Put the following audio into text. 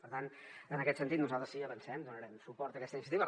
per tant en aquest sentit nosaltres ho avancem sí que donarem suport a aquesta iniciativa